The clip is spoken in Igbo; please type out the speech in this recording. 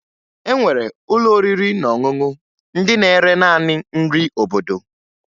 E nwere ụlọ oriri na ọṅụṅụ ndị na-ere naanị nri obodo